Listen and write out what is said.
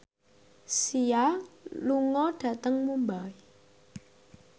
Sia lunga dhateng Mumbai